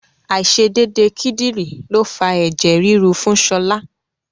Àìṣedédé kídìrí ló fa ẹ̀jẹ̀ ríru fún Ṣọlá.